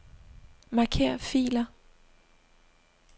Marker filer.